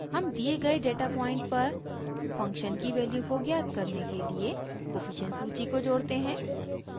हम दिए गए डेटा पॉइंट पर फंक्शन की वैल्यू को ज्ञात करने के लिए कोफिशिएंट सूची को जोड़ते हैं